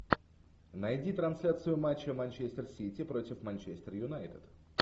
найди трансляцию матча манчестер сити против манчестер юнайтед